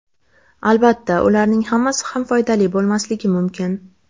Albatta, ularning hammasi ham foydali bo‘lmasligi mumkin.